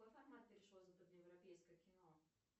европейское кино